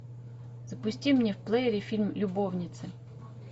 запусти мне в плеере фильм любовницы